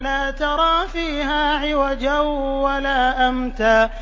لَّا تَرَىٰ فِيهَا عِوَجًا وَلَا أَمْتًا